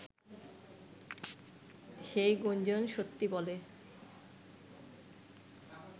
সেই গুঞ্জণ সত্যি বলে